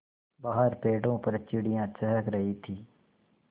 बाहर पेड़ों पर चिड़ियाँ चहक रही थीं